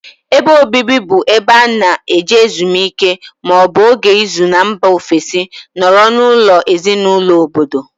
Ébé obibi bụ ebe ana eje ezumike maọbu ógè ịzụ n' mba ofesi nọrọ n' ụlọ ezinụlọ ọbọdọ.